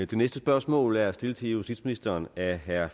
det næste spørgsmål er stillet til justitsministeren af herre